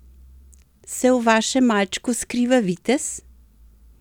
Se v vašem malčku skriva vitez?